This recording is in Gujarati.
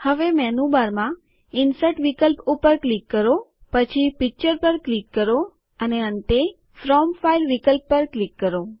હવે મેનુબારમાં ઇન્સર્ટ વિકલ્પ ઉપર ક્લિક કરો પછી પીકચર પર ક્લિક કરો અને અંતે ફ્રોમ ફાઈલ વિકલ્પ પર ક્લિક કરો